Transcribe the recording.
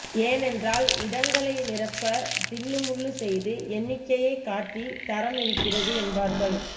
ஏனென்றால் இடங்களை நிரப்ப தில்லு முல்லு செய்து எண்ணிக்கையை காட்டி தரம் இருக்கிறது என்பார்கள்